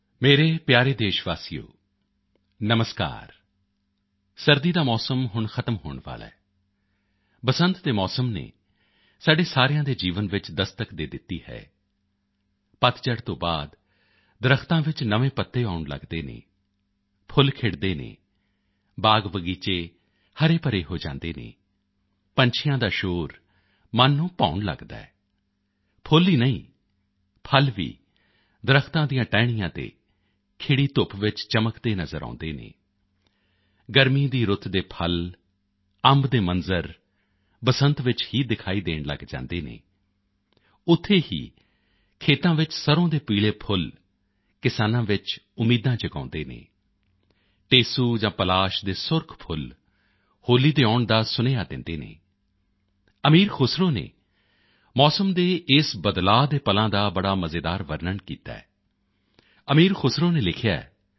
ਮੇਰੇ ਪਿਆਰੇ ਦੇਸ਼ ਵਾਸੀਓ ਨਮਸਕਾਰ ਸਰਦੀ ਦਾ ਮੌਸਮ ਹੁਣ ਖ਼ਤਮ ਹੋਣ ਵਾਲਾ ਹੈ ਬਸੰਤ ਦੇ ਮੌਸਮ ਨੇ ਸਾਡੇ ਸਾਰਿਆਂ ਦੇ ਜੀਵਨ ਵਿੱਚ ਦਸਤਕ ਦੇ ਦਿੱਤੀ ਹੈ ਪੱਤਝੜ ਤੋਂ ਬਾਅਦ ਦਰੱਖਤਾਂ ਵਿੱਚ ਨਵੇਂ ਪੱਤੇ ਆਉਣ ਲੱਗਦੇ ਹਨ ਫੁੱਲ ਖਿੜਦੇ ਹਨ ਬਾਗਬਗੀਚੇ ਹਰੇਭਰੇ ਹੋ ਜਾਂਦੇ ਹਨ ਪੰਛੀਆਂ ਦਾ ਸ਼ੋਰ ਮੰਨ ਨੂੰ ਭਾਉਣ ਲੱਗਦਾ ਹੈ ਫੁੱਲ ਹੀ ਨਹੀਂ ਫਲ ਵੀ ਦਰੱਖਤਾਂ ਦੀਆਂ ਟਾਹਣੀਆਂ ਤੇ ਖਿੜੀ ਧੁੱਪ ਵਿੱਚ ਚਮਕਦੇ ਨਜ਼ਰ ਆਉਂਦੇ ਹਨ ਗਰਮੀ ਦੀ ਰੁੱਤ ਦੇ ਫਲ ਅੰਬ ਦੇ ਮੰਜ਼ਰ ਬਸੰਤ ਵਿੱਚ ਹੀ ਦਿਖਾਈ ਦੇਣ ਲੱਗ ਜਾਂਦੇ ਹਨ ਉੱਥੇ ਹੀ ਖੇਤਾਂ ਵਿੱਚ ਸਰ੍ਹੋਂ ਦੇ ਪੀਲੇ ਫੁੱਲ ਕਿਸਾਨਾਂ ਵਿੱਚ ਉਮੀਦਾਂ ਜਗਾਉਂਦੇ ਹਨ ਟੇਸੂ ਜਾਂ ਪਲਾਸ਼ ਦੇ ਸੁਰਖ ਫੁੱਲ ਹੋਲੀ ਦੇ ਆਉਣ ਦਾ ਸੰਦੇਸ਼ ਦਿੰਦੇ ਹਨ ਅਮੀਰ ਖ਼ੁਸਰੋ ਨੇ ਮੌਸਮ ਦੇ ਇਸ ਬਦਲਾਓ ਦੇ ਪਲਾਂ ਦਾ ਬੜਾ ਮਜ਼ੇਦਾਰ ਵਰਨਣ ਕੀਤਾ ਹੈ ਅਮੀਰ ਖ਼ੁਸਰੋ ਨੇ ਲਿਖਿਆ ਹੈ